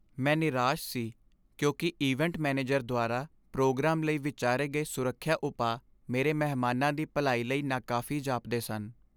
ਮੈਂ ਨਿਰਾਸ਼ ਸੀ ਕਿਉਂਕਿ ਇਵੈਂਟ ਮੈਨੇਜਰ ਦੁਆਰਾ ਪ੍ਰੋਗਰਾਮ ਲਈ ਵਿਚਾਰੇ ਗਏ ਸੁਰੱਖਿਆ ਉਪਾਅ ਮੇਰੇ ਮਹਿਮਾਨਾਂ ਦੀ ਭਲਾਈ ਲਈ ਨਾਕਾਫ਼ੀ ਜਾਪਦੇ ਸਨ।